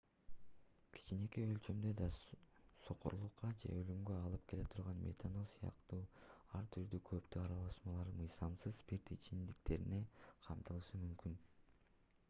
кичинекей өлчөмдө да сокурлукка же өлүмгө алып келе турган метанол сыяктуу ар түрдүү кооптуу аралашмалар мыйзамсыз спирт ичимдиктеринде камтылышы мүмкүн